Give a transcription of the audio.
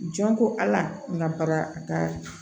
Jɔn ko ala n ka bara a ka